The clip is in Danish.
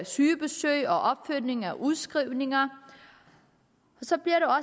sygebesøg og opfølgning af udskrivninger så bliver